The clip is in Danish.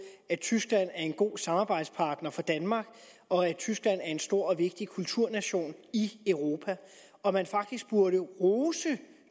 at tyskland er en god samarbejdspartner for danmark og at tyskland er en stor og vigtig kulturnation i europa og at man faktisk burde rose